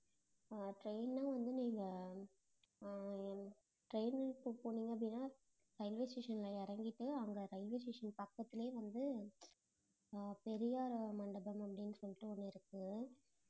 அஹ் train னா வந்து நீங்க அஹ் train க்கு போனீங்க அப்படின்னா railway station ல இறங்கிட்டு அங்க railway station பக்கத்திலேயே வந்து அஹ் பெரியார் மண்டபம் அப்டினு சொல்லிட்டு ஒண்ணு இருக்கு